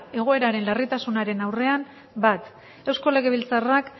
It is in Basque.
egoeraren larritasunaren aurrean bat eusko legebiltzarrak